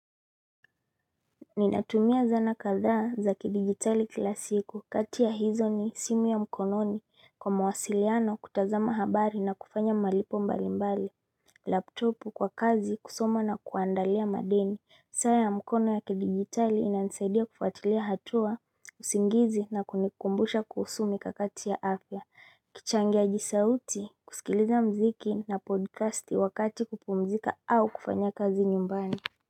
Ninatumia zana kadhaa za kidijitali kila siku kati ya hizo ni simu ya mkononi kwa mawasiliano, kutazama habari na kufanya malipo mbalimbali Laptopu kwa kazi, kusoma na kuandalia madeni saa ya mkono ya kidijitali inanisaidia kuafatilia hatua usingizi na kunikumbusha kuhusu mikakati ya afya kichangiaji sauti kusikiliza muziki na podcasti wakati wa kupumuzika au kufanya kazi nyumbani.